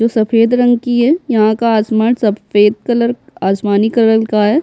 जो सफेद रंग की है यहाँ का आसमान सफेद कलर आसमानी कलर का है।